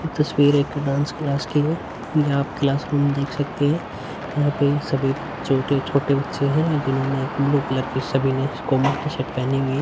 तस्वीर एक dance class की है यहाँ आप क्लासरूम देख सकते है यहाँ पे सभी छोटे- छोटे बच्चे है जिन्होंने एक ब्लू कलर की सभी ने कॉमन टी -शर्ट पेहनी हुई हैं।